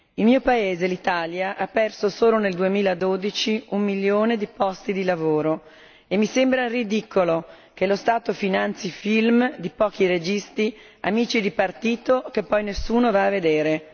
Il mio paese, l'Italia, ha perso solo nel 2012 un milione di posti di lavoro, e mi sembra ridicolo che lo Stato finanzi film di pochi registi che poi nessuno va a vedere.